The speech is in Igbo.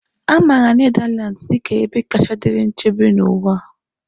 A maara Nedalands dị ka ebe kacha dịrị nchebe n'ụwa.